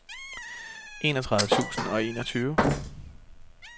enogtredive tusind og enogtyve